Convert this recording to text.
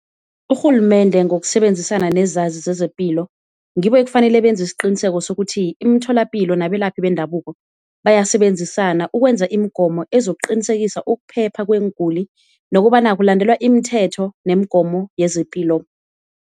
Urhulumende ngokusebenzisana nezazi zezepilo ngibo ekufanele benze isiqiniseko sokuthi, imitholapilo nabelaphi bendabuko bayasebenzisana ukwenza imigomo ezokuqinisekisa ukuphepha kweenguli, nokobana kulandelwa imithetho nemigomo yezepilo.